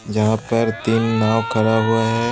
जहां पर तीन नाव खड़ा हुआ है।